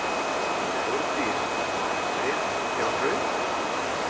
Þórdís: Rétt hjá Hrauni?